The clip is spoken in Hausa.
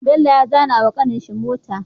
Bello ya zana wa kanin shi mota